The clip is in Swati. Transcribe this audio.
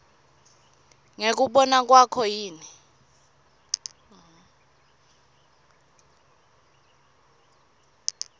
ngekubona kwakho yini